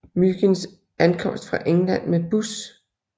Myginds ankomst fra England med bus